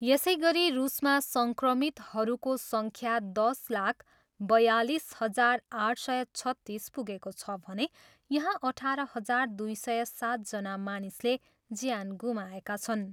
यसैगरी रुसमा सङ्क्रमितहरूको सङ्ख्या दस लाख बयालिस हजार आठ सय छत्तिस पुगेको छ भने यहाँ अठार हजार दुई सय सातजना मानिसले ज्यान गुमाएका छन्।